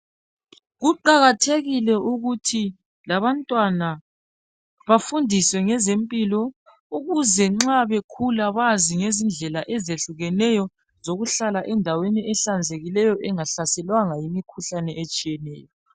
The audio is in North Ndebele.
Kuqakathekile ukuthi labantwana bafundiswe ngezempilo ukuze nxa bekhula bazi ngezindlela ezihlukeneyo zokuhlala endaweni ehlanzekileyo bengahlaselwanga yimikhuhlane etshiyeneyo